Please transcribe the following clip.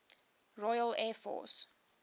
royal air force